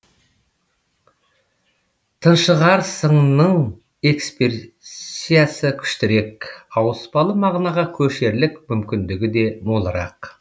тыншығарсыңның эксперсиясы күштірек ауыспалы мағынаға көшерлік мүмкіндігі де молырақ